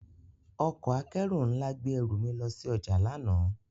Ọkọ akẹru nla gbe eru mi lo si oja lana.